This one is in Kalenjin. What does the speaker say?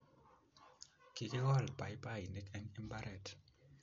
Kikikol paipainik eng' mbaret